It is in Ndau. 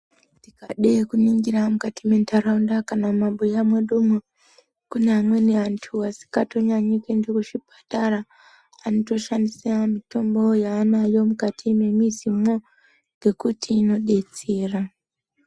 Tikade kuningira mukati mendarawunda kana mabuya mwedu mo, kunamweni antu asikatonyanyi kuyenda kuchipatara, anotoshandisa mitombo yanayo mukati memizi mwo, ngekuti inodetsera.